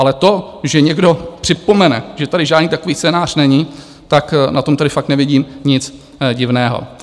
Ale to, že někdo připomene, že tady žádný takový scénář není, tak na tom tady fakt nevidím nic divného.